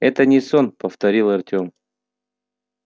это не сон повторил артём